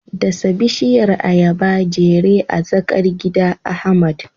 Dasa bishiyar ayaba jere a tsakar gida, Ahmad.